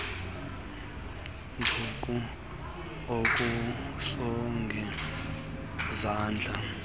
nduku akusongi zandla